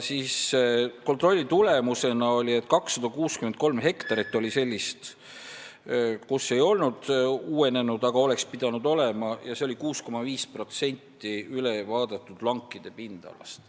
Kontrolli tulemusena selgus, et 263 hektarit olid sellised, kus mets ei olnud uuenenud, aga oleks pidanud olema, see oli 6,5% ülevaadatud lankide pindalast.